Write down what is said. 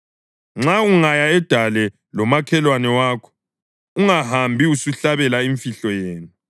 Nxa ungaya edale lomakhelwane wakho ungahambi usuhlabela imfihlo yenu,